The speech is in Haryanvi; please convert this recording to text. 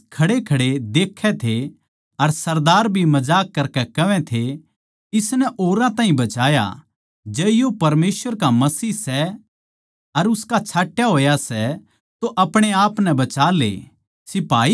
माणस खड़ेखड़े देखै थे अर सरदार भी मजाक करकै कहवै थे इसनै औरां ताहीं बचाया जै यो परमेसवर का मसीह सै अर उसका छाट्या होए सै तो अपणे आपनै बचाले